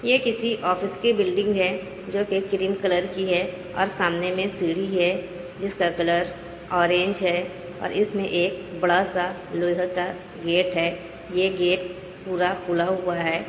ये किसी ऑफिस की बिल्डिंग है जो की क्रीम कलर की है। और सामने मे सीढ़ी है जिसका कलर ऑरेंज है। इसमें एक बड़ा-सा लोहे का गेट है। यह गेट पूरा खुला हुआ है।